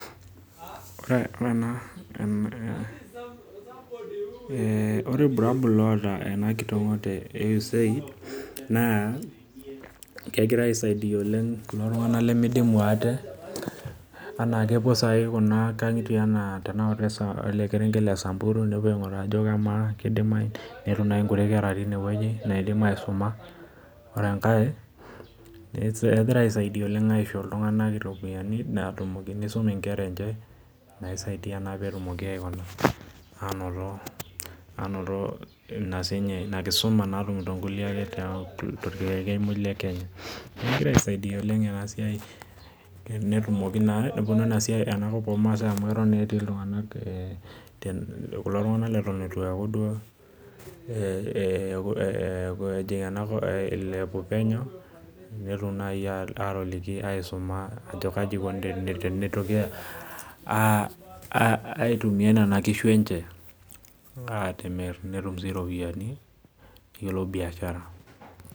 ore ilbulabol loota enkitingoto e USAID naa kepuo saii kuna angitie enaa olkerenket lesamburu, netum naaji inkutiti kera naidim aisuma , ore enkae kegira aret itunganak aisho iropiyiani nisum inkera enye, aisaidia pee etum sii niche anoto enkisuma, tolkerenket muj lekenya kulo tunganak leton etu ilepu penye pee eliki eniko tenitumiaya nenakishu enye pee iteru sii niche biashara.